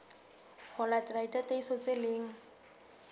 ho latela ditataiso tse leng